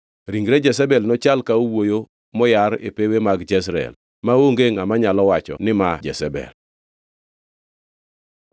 Ringre Jezebel nochal ka owuoyo moyar e pewe mag Jezreel, maonge ngʼama nyalo wacho ni ma Jezebel.”